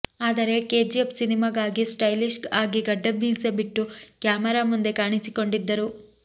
ಆದರೆ ಕೆಜಿಎಫ್ ಸಿನಿಮಾಗಾಗಿ ಸ್ಟೈಲಿಶ್ ಆಗಿ ಗಡ್ಡ ಮೀಸೆ ಬಿಟ್ಟು ಕ್ಯಾಮೆರಾ ಮುಂದೆ ಕಾಣಿಸಿಕೊಂಡಿದ್ದರು